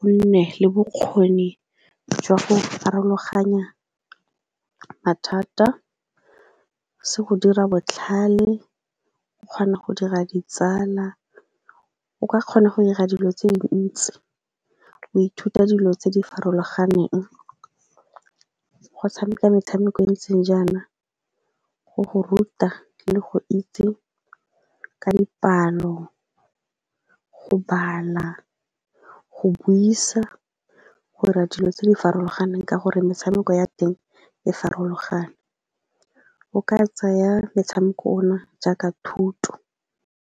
o nne le bokgoni jwa go farologanya mathata, se go dira botlhale, o kgona go dira ditsala, o ka kgona go dira dilo tse dintsi, o ithuta dilo tse di farologaneng. Go tshameka metshameko e ntseng jaana go go ruta le go itse ka dipalo, go bala, go buisa, go dira dilo tse di farologaneng ka gore metshameko ya teng e farologane. O ka tsaya metshameko ona jaaka thuto.